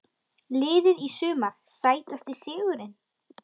Liðið í sumar Sætasti sigurinn?